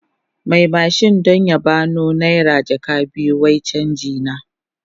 Mai mashin don ya ba no naira jaka biyu wai canji na.